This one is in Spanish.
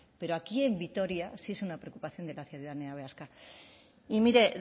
pero aquí en vitoria sí es una preocupación de la ciudadanía vasca y mire